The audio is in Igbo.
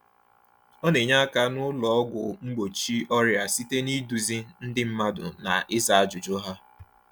Ọ na-enye aka n’ụlọ ọgwụ mgbochi ọrịa site n’ịduzi ndị mmadụ na ịza ajụjụ ha.